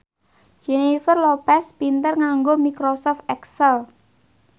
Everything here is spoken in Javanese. Jennifer Lopez pinter nganggo microsoft excel